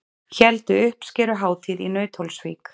Héldu uppskeruhátíð í Nauthólsvík